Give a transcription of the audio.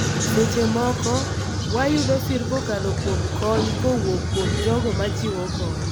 Seche moko, wayudo sir kokalo kuom kony kowuok kuom jogo ma chiwo kony